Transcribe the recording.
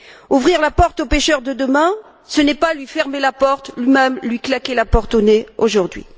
Ouvrir la porte au pêcheur de demain, ce n'est pas lui fermer la porte ou même lui claquer la porte au nez aujourd'hui.